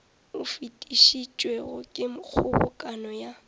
o fetišitšwego ke kgobokano ya